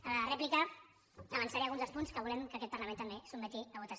a la replica avançaré alguns dels punts que volem que aquest parlament també sotmeti a votació